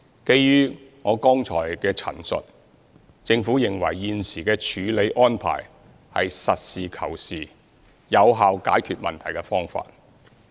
基於我剛才的陳述，政府認為現時的處理安排是實事求是、有效解決問題的方法。